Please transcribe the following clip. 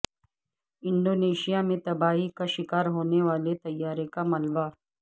Indonesia میں تباہی کا شکار ہونے والے طیارے کا ملبہ